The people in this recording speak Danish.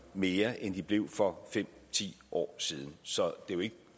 mere end de blev for fem ti år siden så er jo ikke